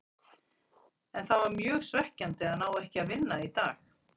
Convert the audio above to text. En það er mjög svekkjandi að ná ekki að vinna í dag.